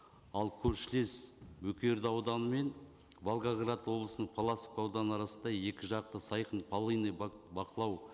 ал көршілес бөкей орда ауданы мен волгоград облысының паласов ауданы арасында екі жақты сайқын полынный бақылау